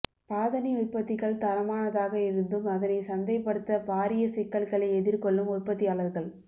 பாதணி உற்பத்திகள் தரமானதாக இருந்தும் அதனை சந்தைப்படுத்த பாரிய சிக்கல்களை எதிர்கொள்ளும் உற்பத்தியாளர்கள்